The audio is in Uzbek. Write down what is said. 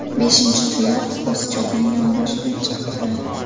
Beshinchi tuyoq qo‘zichoqning yonboshidan chiqib turadi.